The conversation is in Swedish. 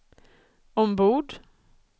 ombord